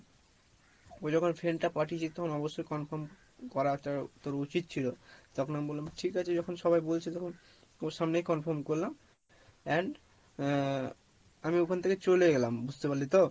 ওই যখন friend টা পাঠিয়েছে তখন অবশ্যই confirm করাটা তোর উচিৎ ছিলো, তখন আমি বললাম ঠিক আছে যখন সবাই বলছে তখন ওর সামনেই confirm করলাম and আহ আমি ওখান থেকে চলে এলাম বুঝতে পারলি তো?